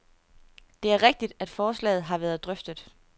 Det er rigtigt, at forslaget har været drøftet.